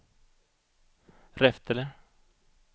Reftele